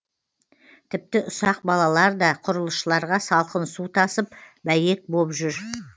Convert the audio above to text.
тіпті ұсақ балалар да құрылысшыларға салқын су тасып бәйек боп жүр